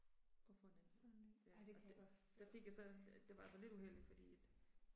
Og få en anden hund. Ja og det der fik jeg så det det var sådan lidt uheldigt fordi at